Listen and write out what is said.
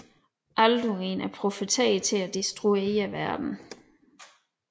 Alduin er profeteret til at destruere verdenen